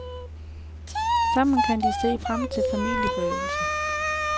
Sammen kan de se frem til familieforøgelsen.